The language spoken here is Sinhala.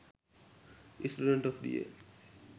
student of the year